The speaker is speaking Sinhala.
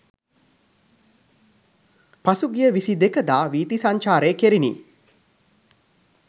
පසුගිය 22 දා වීථි සංචාරය කෙරිණි.